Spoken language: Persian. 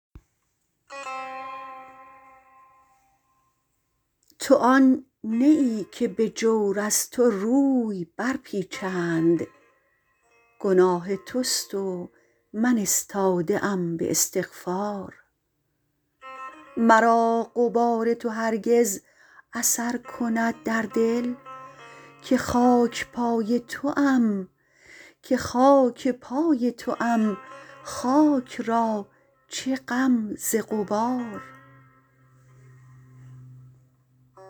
تو آن نه ای که به جور از تو روی برپیچند گناه تست و من استاده ام به استغفار مرا غبار تو هرگز اثر کند در دل که خاکپای توام خاک را چه غم ز غبار